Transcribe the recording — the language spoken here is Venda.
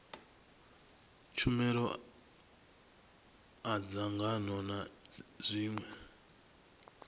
tshumelo a dzangano na zwiṅwe